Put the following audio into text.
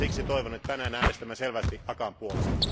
Siksi toivon, että tänään äänestämme selvästi ACAAn puolesta.